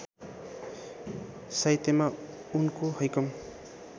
साहित्यमा उनको हैकम